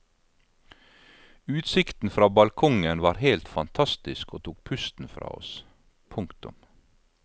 Utsikten fra balkongen var helt fantastisk og tok pusten fra oss. punktum